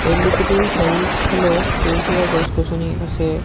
তেল ডিপুটোৰ চাৰিওচফালে সেউজীয়া গছ-গছনি আছে।